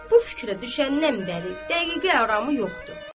Bu fikrə düşəndən bəri dəqiqə aramı yoxdur.